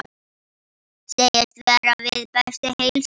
Segist vera við bestu heilsu.